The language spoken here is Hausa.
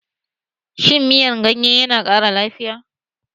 Shin miyan ganye yana ƙara lafiya?